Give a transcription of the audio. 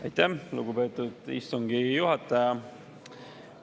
Aitäh, lugupeetud istungi juhataja!